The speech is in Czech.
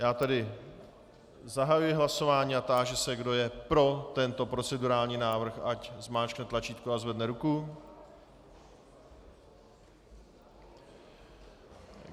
Já tedy zahajuji hlasování a táži se, kdo je pro tento procedurální návrh, ať zmáčkne tlačítko a zvedne ruku.